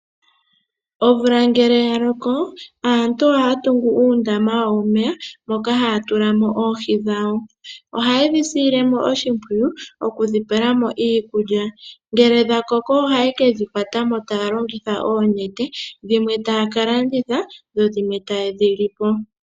Omvula ngele yaloko aantu ohaya tungu uundama wawo womeya moka haya tulamo oohi dhawo . Ohayi dhi sile oshimpwiyu moku dhi pelamo iikulya . Ngele dha koko ohaye kedhi kwatamo taya longitha oonete, dhimwe taya ka landitha dho dhimwe ta yedhi lipo